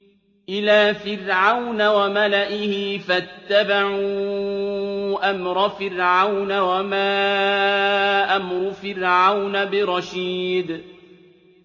إِلَىٰ فِرْعَوْنَ وَمَلَئِهِ فَاتَّبَعُوا أَمْرَ فِرْعَوْنَ ۖ وَمَا أَمْرُ فِرْعَوْنَ بِرَشِيدٍ